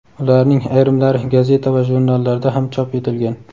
ularning ayrimlari gazeta va jurnallarda ham chop etilgan.